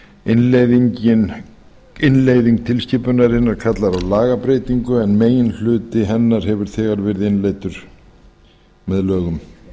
innleiðing til skipunarinnar kallar á lagabreytingu en meginhluti hennar hefur þegar verið innleiddur með lögum